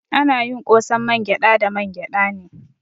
Ana yin ƙosan mangyada da mangyada ne.